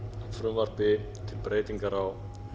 frumvarpi til breytingar á